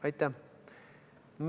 Aitäh!